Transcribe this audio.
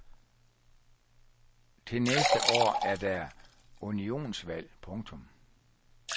Til næste år er der unionsvalg. punktum